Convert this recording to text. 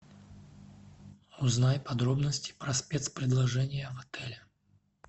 узнай подробности про спецпредложения в отеле